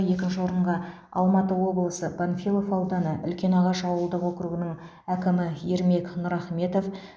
екінші орынға алматы облысы панфилов ауданы үлкенағаш ауылдық округінің әкімі ермек нұрахметов